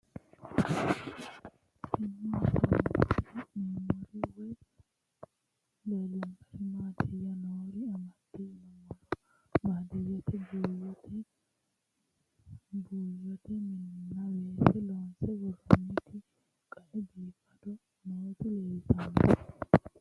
Tenne misilenni la'nanniri woy leellannori maattiya noori amadde yinummoro baadiyeette baattora buuyotte mininna weese loonsse woroonnitti qae biiffaddo nootti leelittanno